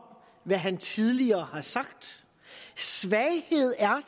hvad han tidligere har sagt svaghed er